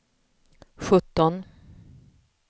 sjutton